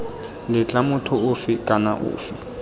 letla motho ofe kana ofe